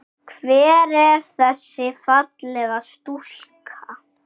Hver er þessi fallega stúlka?